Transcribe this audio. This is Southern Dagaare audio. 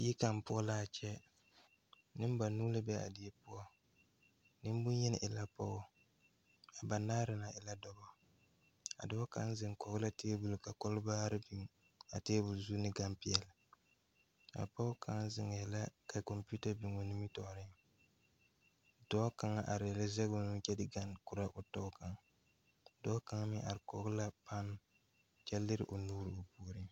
Die kaŋ poɔ laa kyɛ neŋbanuu la be a die poɔ neŋbonyene e la pogɔ a banaare na e la dɔbɔ a dɔɔ kaŋ zeŋ koge la tabol ka kalbaare biŋ a tabol zu ne ganpeɛɛle a pɔge kaŋ zeŋɛɛ la ka kɔmpiuta biŋoo nimitoore dɔɔ kaŋ areɛɛ la zege o nu kyɛ de kaŋ korɔ o tɔ kaŋ dɔɔ kaŋ meŋ are kɔge la pane kyɛ lire o nuure puoriŋ.